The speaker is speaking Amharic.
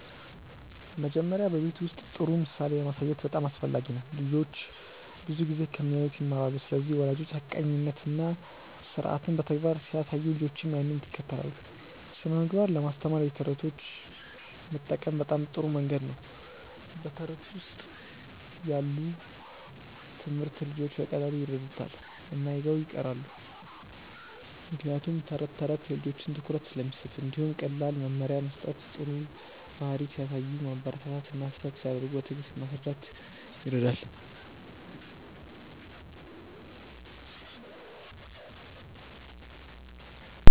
መጀመሪያ በቤት ውስጥ ጥሩ ምሳሌ ማሳየት በጣም አስፈላጊ ነው። ልጆች ብዙ ጊዜ ከሚያዩት ይማራሉ ስለዚህ ወላጆች ሐቀኛነትን እና ስርዓትን በተግባር ሲያሳዩ ልጆችም ያንን ይከተላሉ። ስነ ምግባር ለማስተማር የተረቶች መጠቀም በጣም ጥሩ መንገድ ነው በተረት ውስጥ ያለ ትምህርት ልጆች በቀላሉ ይረዱታል እና ይዘው ይቀራሉ ምክንያቱም ተረት ተረት የልጆችን ትኩረት ስለሚስብ። እንዲሁም ቀላል መመሪያ መስጠት ጥሩ ባህሪ ሲያሳዩ ማበረታታት እና ስህተት ሲያደርጉ በትዕግስት ማስረዳት ይረዳል።